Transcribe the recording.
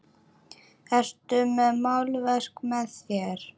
Ertu með málverk með þér?